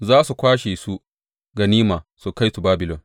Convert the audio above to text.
Za su kwashe su ganima su kai su Babilon.